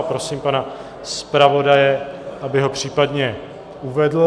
A prosím pana zpravodaje, aby ho případně uvedl.